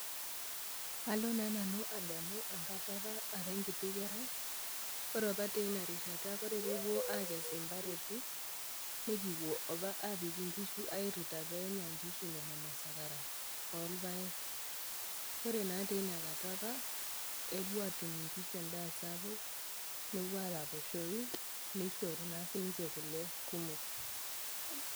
Alo naa nanu ademu enkata opa ara enkiti kerai, ore opa teina rishata ore peepuoi akes impareti, nikiwuo apa aapik inkishu airita inkishu pee enya inkishu nena masakara olpaek. Ore naa teina kata opa epuo aatum inkishu endaa sapuk nepuo araposhou, neishoru naa ninche kule kumok.